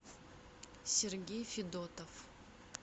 сергей федотов